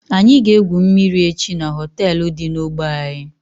Anyị ga egwu mmiri echi n'hoteelu dị n'ogbe anyị